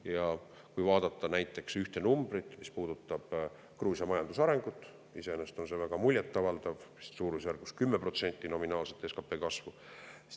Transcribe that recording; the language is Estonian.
Ja kui vaadata näiteks ühte numbrit, mis puudutab Gruusia majandusarengut, siis iseenesest on see väga muljetavaldav: vist suurusjärgus 10% nominaalset SKP kasvu.